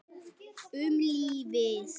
Um lífið.